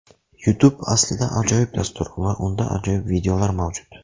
Youtube aslida ajoyib dastur va unda ajoyib videolar mavjud.